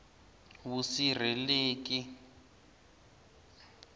vusirheleki